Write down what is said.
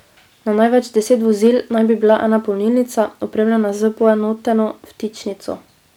Na največ deset vozil naj bi bila ena polnilnica, opremljena s poenoteno vtičnico.